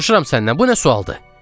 Soruşuram səndən, bu nə sualdır?